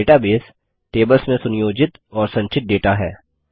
database tables में सुनियोजित और संचित डेटा है